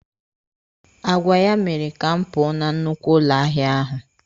Agwa ya mere ka m pụọ na nnukwu ụlọ ahịa ahụ.